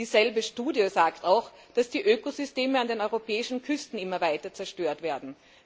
Dieselbe Studie sagt auch, dass die Ökosysteme an den europäischen Küsten immer weiter zerstört werden.